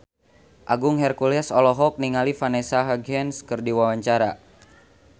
Agung Hercules olohok ningali Vanessa Hudgens keur diwawancara